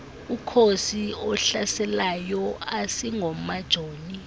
umkhosi ohlaselayo asingomajoni